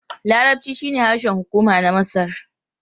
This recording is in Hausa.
Larabci shine harshen hukuma na Masar.